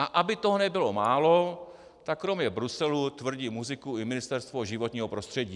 A aby toho nebylo málo, tak kromě Bruselu tvrdí muziku i Ministerstvo životního prostředí.